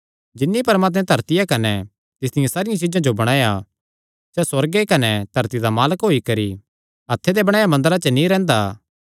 जिन्नी परमात्मैं धरतिया कने तिसदियां सारियां चीज्जां जो बणाया सैह़ सुअर्ग कने धरती दा मालक होई करी हत्थे दे बणाया मंदरा च नीं रैंह्दा